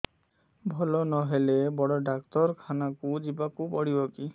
ଭଲ ନହେଲେ ବଡ ଡାକ୍ତର ଖାନା ଯିବା କୁ ପଡିବକି